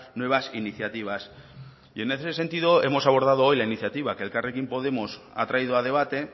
nuevas iniciativas y en ese sentido hemos abordado hoy la iniciativa que elkarrekin podemos ha traído a debate